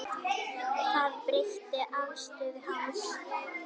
Það breytti afstöðu hans.